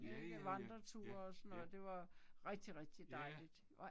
Ja ja ja, ja, ja. Ja!